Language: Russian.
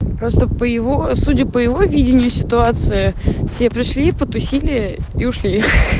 просто по его судя по его видению ситуации все пришли потусили и ушли